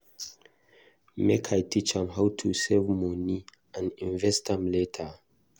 Make I teach am how to save moni and invest am later.